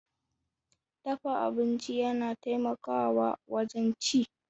Dafa abinci yana taimakawa wajen ci.